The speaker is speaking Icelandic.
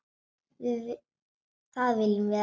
Það viljum við ekki.